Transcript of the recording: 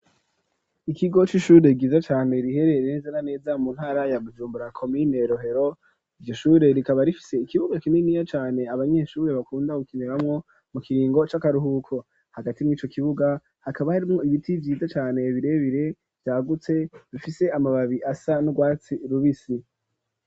Ikigo c'ishure giza cane riherereza naneza mu ntara ya Bujumbura ,komine rohero ,Iryo shure rikaba rifise ikibuga kininiya cane ,abanyeshuri bakunda gukiniramwo mu kiringo c'akaruhuko, hagati mw'ico kibuga hakaba harimwo ibiti vyiza cane birebere, vyagutse bifise amababi asa nurwatsi rubisi.